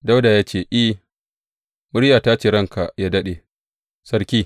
Dawuda ya ce, I, muryata ce ya ranka yă daɗe, sarki.